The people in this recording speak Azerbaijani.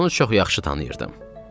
Onu çox yaxşı tanıyırdım.